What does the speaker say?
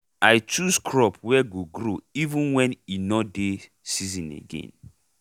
i chose crop wey go grow even wen e nor dey season again